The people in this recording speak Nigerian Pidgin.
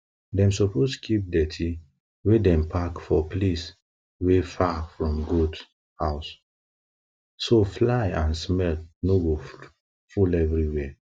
dem suppose keep dirty wey dem pack for place wey far from goat house so fly and smell no go full everywhere